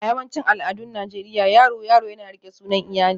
A yawancin al'adun Najeriya, yaro yaro yana riƙe sunan iyali